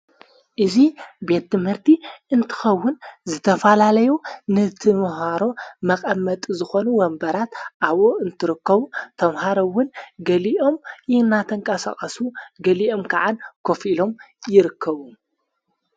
እዙ ቤት ምህርቲ እንትኸውን ዝተፋላለዮ ንቲምሃሮ መቐመጡ ዝኾኑ ወንበራት ኣብኡ እንትርክቡ ተምሃረውን ገሊኦም ይሕናተንቃሰቐሱ ገሊኦም ከዓን ኮፍ ኢሎም ይርከቡ።